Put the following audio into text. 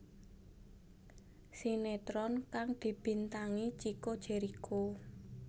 Sinetron kang dibintangi Chico Jericho